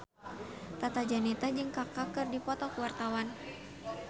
Tata Janeta jeung Kaka keur dipoto ku wartawan